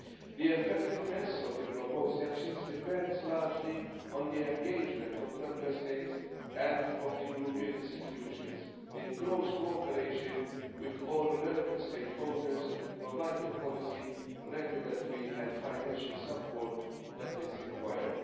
The effectiveness of the proposed actions depends largely on the engagement of Member States and of the European institutions, in close cooperation with all relevant stakeholders, to provide the policy, regulatory and financial support that is required.